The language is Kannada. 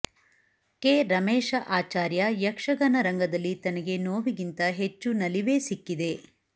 ಕೆ ರಮೇಶ ಆಚಾರ್ಯ ಯಕ್ಷಗಾನ ರಂಗದಲ್ಲಿ ತನಗೆ ನೋವಿಗಿಂತ ಹೆಚ್ಚು ನಲಿವೇ ಸಿಕ್ಕಿದೆ